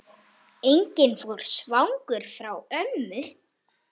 Enginn fór svangur frá ömmu.